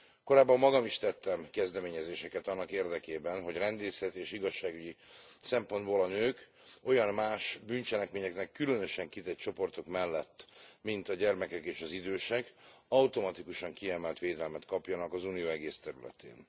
Korábban magam is tettem kezdeményezéseket annak érdekében, hogy rendészeti és igazságügyi szempontból a nők olyan más, bűncselekményeknek különösen kitett csoportok mellett, mint a gyermekek és az idősek automatikusan kiemelt védelmet kapjanak az Unió egész területén.